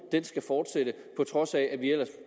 skal fortsætte på trods af at vi ellers